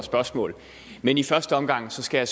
spørgsmål men i første omgang skal